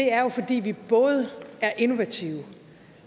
er jo fordi vi både er innovative